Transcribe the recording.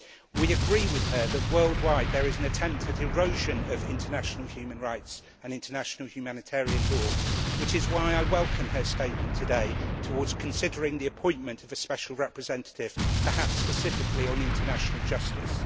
We agree with her that worldwide there is an attempt at erosion of international human rights and international humanitarian law, which is why I welcome her statement today towards considering the appointment of a special representative, perhaps specifically on international justice.